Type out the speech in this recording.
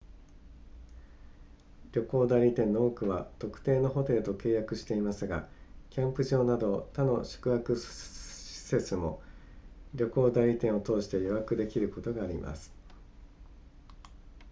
旅行代理店の多くは特定のホテルと契約していますがキャンプ場など他の宿泊施設も旅行代理店を通して予約できることがあります